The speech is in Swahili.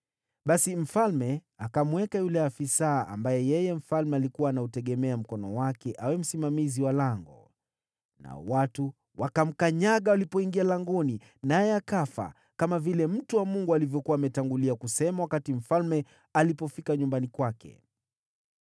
Basi mfalme alikuwa amemweka yule afisa ambaye mfalme alikuwa anauegemea mkono wake awe msimamizi wa lango. Nao watu wakamkanyaga walipoingia langoni, naye akafa, kama vile mtu wa Mungu alivyokuwa ametangulia kusema wakati mfalme alipofika nyumbani kwake.